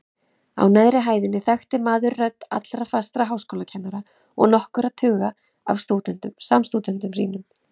Á neðri hæðinni þekkti maður rödd allra fastra háskólakennara og nokkurra tuga af samstúdentum sínum.